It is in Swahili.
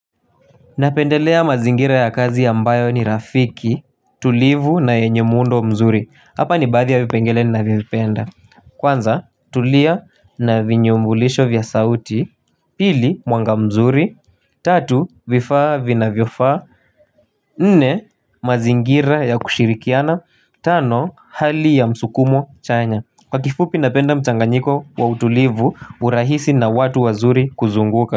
Napendelea mazingira ya kazi ya ambayo ni rafiki tulivu na yenye muundo mzuri hapa ni baadhi ya vipengele ninavyopenda. Kwanza tulia na vinyumbulisho vya sauti pili mwanga mzuri tatu vifaa vinavyofaa. Nne mazingira ya kushirikiana tano hali ya msukumo chanya. Kwa kifupi napenda mchanganyiko wa utulivu urahisi na watu wazuri kuzunguka.